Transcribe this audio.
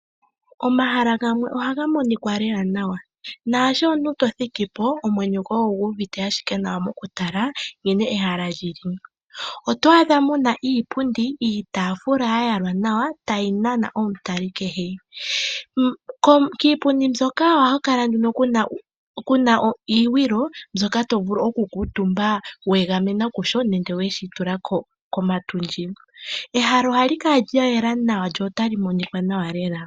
Omahala gamwe ohaga monikwa lela nawa, naasho omuntu tothiki po omwenyo gwoye ogu uvite ashike nawa mokutala nkene ehala lyi li. Oto adha mu na iipundi, iitafula ya yalwa nawa, tayi nana omutali kehe. Kiipundi mbyoka ohaku kala ku na iigwilo mbyoka to vulu okukuutumba weegamena kusho nenge weshi tula komatundji. Ehala oha li kala lya yelà nawa lyo ta li monika nawa lela.